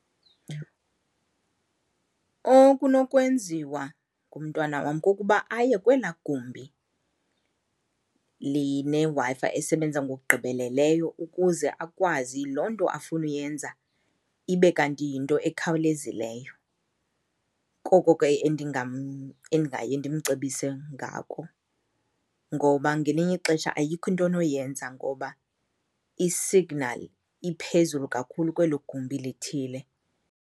Okunokwenziwa ngumntwana wam kukuba aye kwelaa gumbi lineWi-Fi esebenza ngokugqibeleleyo ukuze akwazi loo nto afuna uyenza ibe kanti yinto ekhawulezileyo, koko ke endingaye ndimcebise ngako. Ngoba ngelinye ixesha ayikho into onoyenza ngoba i-signal iphezulu kakhulu kwelo gumbi lithile.